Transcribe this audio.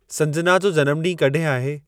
संजना जो जनमु ॾींहुं कॾहिं आहे